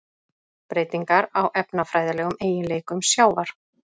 Breytingar á efnafræðilegum eiginleikum sjávar: